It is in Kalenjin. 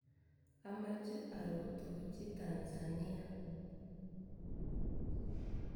Amache arutochi Tanzania.